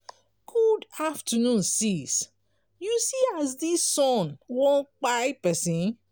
good afternoon sis you see as dis sun wan kpai pesin